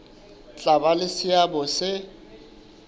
tla ba le seabo se